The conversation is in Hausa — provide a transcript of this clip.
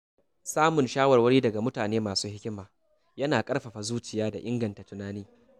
Samun shawarwari daga mutane masu hikima yana ƙarfafa zuciya da inganta tunani.